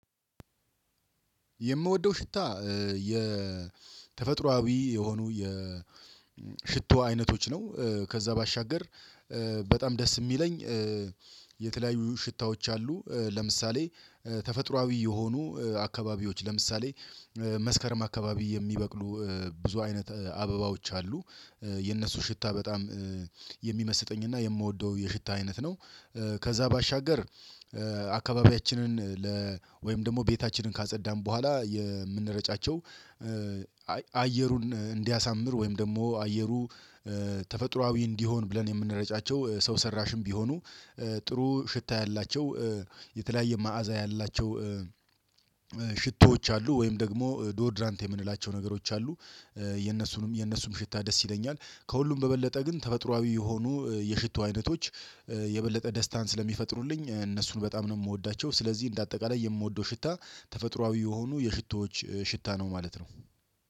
የምወደው ሽታ የተፈጥሮአዊ የሆኑ የሽቶ አይነቶች ነው ከዛ ባሻገር በጣም ደስ የሚለኝ የተለያዩ ሽታዎች አሉ። ለምሳሌ ተፈጥሮአዊ የሆኑ አካባቢዎች ለምሳሌ መስከረም አካባቢ የሚበቅሉ ብዙ አይነት አበባዎች አሉ የነሱ ሽታ በጣም የሚመስጠኝና የምወደው የሽታ አይነት ነው። ከዛ ባሻገር አካባቢያችንን ለ ወይም ደግሞ ቤታችንን ካጸዳን በኋላ የምንረጫቸው አየሩን እንዲያሳምር ወይም ደግሞ አየሩ ተፈጥሮአዊ እንዲሆን ብለን የምንረጫቸው ሰው ሰራሽም ቢሆኑ ጥሩ ሽታ ያላቸው የተለያየ መዓዛ ያላቸው ሽቶዎች አሉ ወይም ደግሞ ዶደራንት የምንላቸው ነገሮች አሉ። የነሱንም የነሱም ሽታ ደስ ይለኛል ከሁሉም በበለጠ ግን ተፈጥሮአዊ የሆኑ የሽቶ አይነቶች የበለጠ ደስታን ስለሚፈጥሩልኝ እነሱን በጣም ነው የምወዳቸው። ስለዚህ እንደ አጠቃላይ የምወደው ሽታ ተፈጥሮአዊ የሆኑ የሽቶዎች ሽታ ነው ማለት ነው